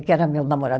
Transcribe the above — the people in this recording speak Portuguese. Que era meu namorado